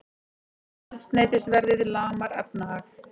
Eldsneytisverðið lamar efnahag